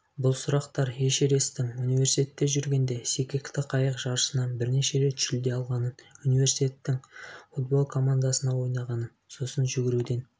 бұл сұрақтар эшересттің университетте жүргенде секекті қайық жарысынан бірнеше рет жүлде алғанын униврситеттің футбол командасында ойнағанын сосын жүгіруден